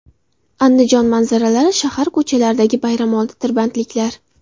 Andijon manzaralari: Shahar ko‘chalaridagi bayramoldi tirbandliklar.